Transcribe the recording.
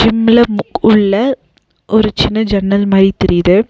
ஜிம்ல முக் உள்ள ஒரு சின்ன ஜன்னல் மாரி தெரியிது.